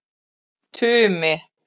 Tumi